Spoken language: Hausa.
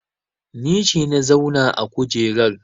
Ni ce na zauna a kujerar